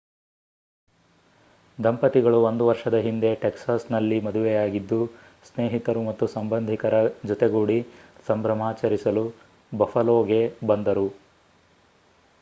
ದಂಪತಿಗಳು ಒಂದು ವರ್ಷದ ಹಿಂದೆ ಟೆಕ್ಸಾಸ್‌ನಲ್ಲಿ ಮದುವೆಯಾಗಿದ್ದು ಸ್ನೇಹಿತರು ಮತ್ತು ಸಂಬಂಧಿಕರ ಜೊತೆಗೂಡಿ ಸಂಭ್ರಮಾಚರಿಸಲು ಬಫಲೋಗೆ ಬಂದರು